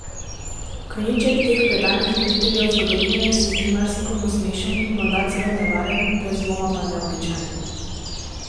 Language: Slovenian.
Konjiček teh predanih ljubiteljev zgodovine se zdi marsikomu smešen, morda celo nevaren, brez dvoma pa neobičajen.